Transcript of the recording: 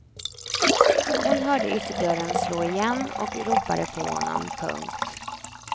Hon hörde ytterdörren slå igen och ropade på honom. punkt